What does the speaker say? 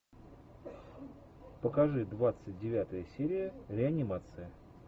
покажи двадцать девятая серия реанимация